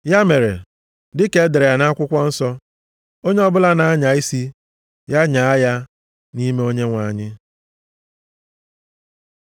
Ya mere, dịka e dere ya nʼakwụkwọ nsọ, “Onye ọbụla na-anya isi, ya nyaa nʼime Onyenwe anyị.” + 1:31 \+xt Jer 9:24\+xt*